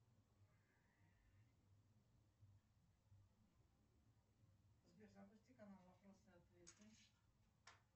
сбер запусти канал вопросы и ответы